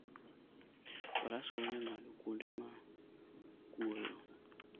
Faras konyo e ng'ado kuonde ma kuoyo.